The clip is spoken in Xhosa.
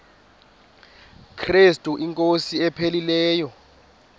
krestu inkosi ephilileyo